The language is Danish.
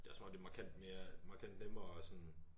Det også som om det er markant mere markant nemmere at sådan